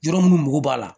Yɔrɔ minnu mago b'a la